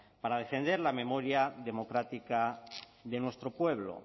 para defender la memoria democrática de nuestro pueblo